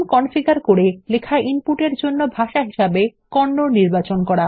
configure করে লেখা input এর জন্য ভাষা হিসেবে কন্নড নির্বাচন করুন